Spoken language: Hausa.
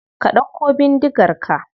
Ka dauko bindigar ka.